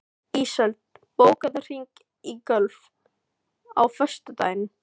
Ísold, bókaðu hring í golf á föstudaginn.